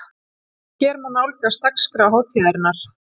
Hér má nálgast dagskrá hátíðarinnar